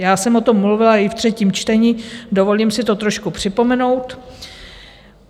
Já jsem o tom mluvila i v třetím čtení, dovolím si to trošku připomenout.